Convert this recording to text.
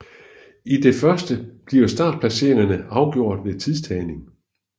I det første bliver startplaceringerne afgjort ved en tidstagning